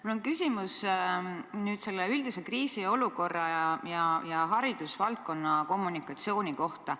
Mul on küsimus üldise kriisiolukorra ja haridusvaldkonna kommunikatsiooni kohta.